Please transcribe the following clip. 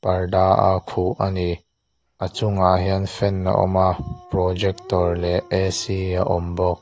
parda a khuh a ni a chungah hian fan a awm a projector leh a awm bawk.